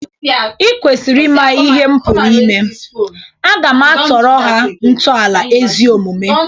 Ị kwesiri ima ihe m pụrụ ime. Aga m atọrọ ha ntọala ezi omume.